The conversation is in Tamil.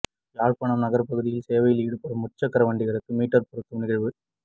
யாழ்ப்பாணம் நகர்பகுதியில் சேவையில் ஈடுபடும் முச்சக்கர வண்டிகளுக்கு மீற்றர் பொருத்தும் நிகழ்வு